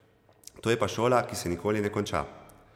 To je pa šola, ki se nikoli ne konča.